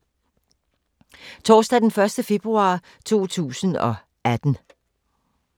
Torsdag d. 1. februar 2018